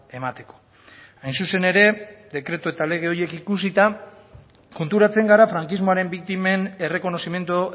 emateko hain zuzen ere dekretu eta lege horiek ikusita konturatzen gara frankismoaren biktimen errekonozimendu